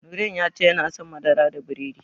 Nurain ya ce yana son madara da biredi.